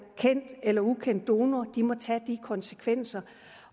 kendt eller ukendt donor må tage de konsekvenser